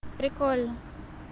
прикольно